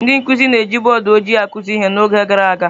Ndị nkụzi na-eji bọọdụ ojịi akụzi ihe n’oge gara aga.